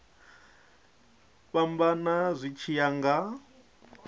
fhambana zwi tshi ya nga